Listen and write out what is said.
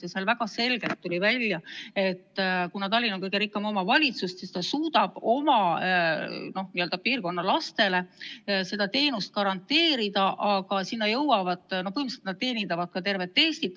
Seal tuli väga selgelt välja, et kuna Tallinn on kõige rikkam omavalitsus, siis ta suudab oma piirkonna lastele selle teenuse garanteerida, aga põhimõtteliselt nad teenindavad tervet Eestit.